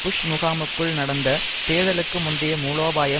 push முகாமுக்குள் நடந்த தேர்தலுக்கு முந்தைய மூலோபாயம்